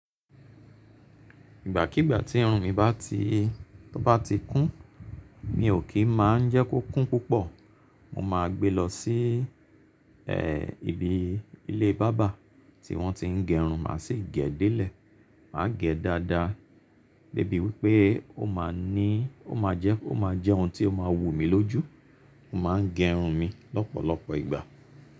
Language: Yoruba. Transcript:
Ìgbàkíigbà tí irun mi bá ti tó bá ti kún, mi ò kí má jẹ́ kó kún púpọ̀. Mo máa gbe lọ sí i e ibi ilé barber tí wọ́n ti ń gẹ irun, màá sì gẹ̀ dé lè, màá gẹ̀ dáadáa débi wípé ó máa ní ó máa jẹ́ ó máa jẹ́ ohun tí ó máa wù mí lójú. Mo máa ń gẹ irun mi lọ́pọ̀lọpọ̀ ìgbà.